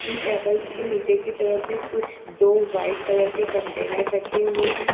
इन tables के नीचे की तरफ भी कुछ दो व्हाइट कलर के कंटेनर रखे हुए हैं।